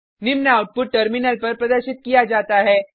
निम्न output terminal पर प्रदर्शित किया जाता है